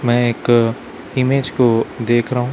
मैं एक इमेज को देख रहा--